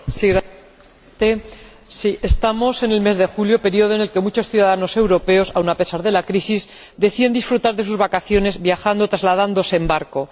Señor Presidente, estamos en el mes de julio, período en el que muchos ciudadanos europeos, aun a pesar de la crisis, deciden disfrutar de sus vacaciones viajando o trasladándose en barco.